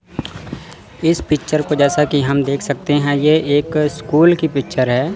इस पिक्चर को जैसा कि हम देख सकते हैं यह एक स्कूल की पिक्चर है।